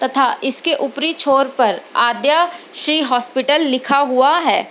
तथा इसके ऊपरी छोर पर आदया श्री हॉस्पिटल लिखा हुआ है।